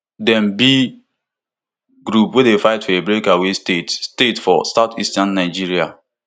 dem be group wey dey fight for a breakaway state state for southeastern nigeria